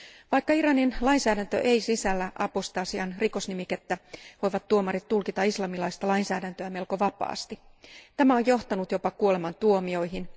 Vaikka Iranin lainsäädäntö ei sisällä apostasian rikosnimikettä, voivat tuomarit tulkita islamilaista lainsäädäntöä melko vapaasti. Tämä on johtanut jopa kuolemantuomioihin.